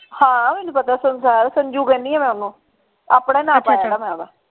ਹਾਂ ਮੈਨੂੰ ਪਤਾ ਹੈ ਸੰਸਾਰ ਸੰਜੂ ਕਹਿੰਦੀ ਆ ਮੈਂ ਓਹਨੂੰ ਆਪਣੇ ਪਾਇਆ ਮੈਂ ਓਹਦਾ।